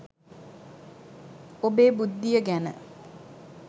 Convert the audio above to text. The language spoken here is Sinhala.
ඔබේ බුද්ධිය ගැන